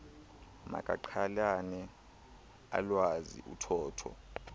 makaqhelane alwazi uthotho